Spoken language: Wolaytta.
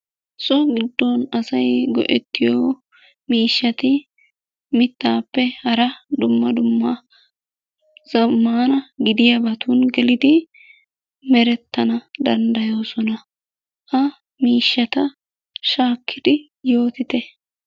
So gidon asay go'ettiyo miishshatti mittappe hara dumma dumma zamanna gidiyaabatun geliddi merettana dandayosonna. Ha miishshatta shaakidi yootitte.